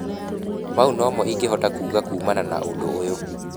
mau nomo ingehota kuuga kuumana na ũndũ ũyũ.